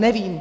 Nevím.